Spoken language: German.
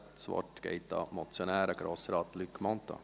Das Wort geht an den Motionär, Grossrat Luc Mentha.